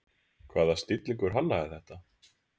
Hvaða snillingur hannaði þetta?